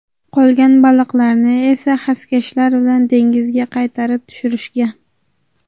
Qolgan baliqlarni esa xaskashlar bilan dengizga qaytarib tushirishgan.